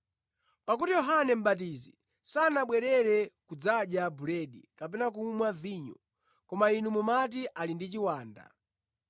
Pakuti Yohane Mʼbatizi sanabwere kudzadya buledi kapena kumwa vinyo, koma inu mumati, ‘Ali ndi chiwanda.’